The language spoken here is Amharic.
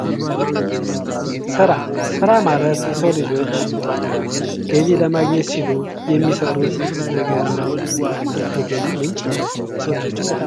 ስራ፦ ስራ ማለት የሰው ልጆች ገቢ ለማግኘት ሲሉ የሚሰሩት ነገር ነው ዋናም የገቢ ምንጭ ነው ለሰው ልጆችም በጣም